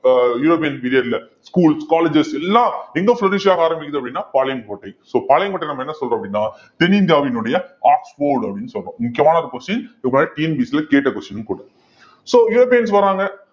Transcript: அஹ் European period ல schools colleges எல்லாம் எங்க ஆரம்பிக்குது அப்படின்னா பாளையங்கோட்டை so பாளையங்கோட்டை நம்ம என்ன சொல்றோம் அப்படின்னா தென்னிந்தியாவினுடைய ஆக்ஸ்போர்ட் அப்படின்னு சொல்றோம் முக்கியமான ஒரு question TNPSC ல கேட்ட question ம் கூட so யுரோப்பியன்ஸ் வர்றாங்க.